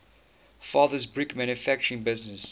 father's brick manufacturing business